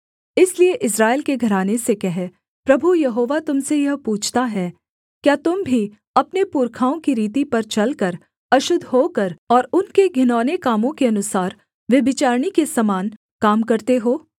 इसलिए इस्राएल के घराने से कह प्रभु यहोवा तुम से यह पूछता है क्या तुम भी अपने पुरखाओं की रीति पर चलकर अशुद्ध होकर और उनके घिनौने कामों के अनुसार व्यभिचारिणी के समान काम करते हो